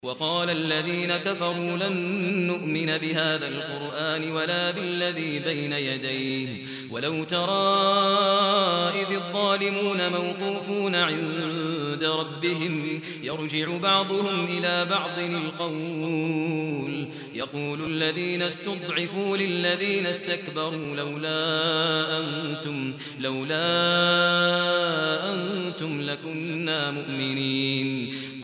وَقَالَ الَّذِينَ كَفَرُوا لَن نُّؤْمِنَ بِهَٰذَا الْقُرْآنِ وَلَا بِالَّذِي بَيْنَ يَدَيْهِ ۗ وَلَوْ تَرَىٰ إِذِ الظَّالِمُونَ مَوْقُوفُونَ عِندَ رَبِّهِمْ يَرْجِعُ بَعْضُهُمْ إِلَىٰ بَعْضٍ الْقَوْلَ يَقُولُ الَّذِينَ اسْتُضْعِفُوا لِلَّذِينَ اسْتَكْبَرُوا لَوْلَا أَنتُمْ لَكُنَّا مُؤْمِنِينَ